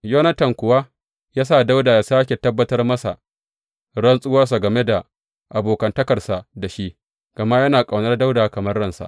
Yonatan kuwa ya sa Dawuda ya sāke tabbatar masa rantsuwansa game da abokantakarsa da shi, gama yana ƙaunar Dawuda kamar ransa.